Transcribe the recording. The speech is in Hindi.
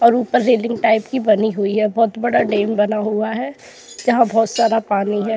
और उपर रेलिंग टाइप की बनी हुई है बहुत बड़ा डैम बना हुआ है यहां बहुत सारा पानी है।